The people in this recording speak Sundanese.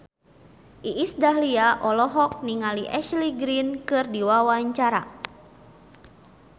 Iis Dahlia olohok ningali Ashley Greene keur diwawancara